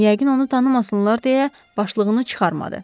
Yəqin onu tanımasınlar deyə başlığını çıxarmadı.